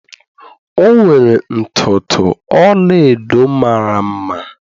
o nwere ntutu ọla-edo mara mma.